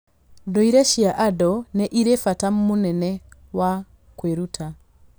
Ndũire cia andũ nĩ irĩ bata mũnene wa kwĩruta.